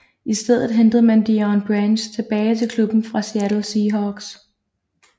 I stedet hentede man Deion Branch tilbage til klubben fra Seattle Seahawks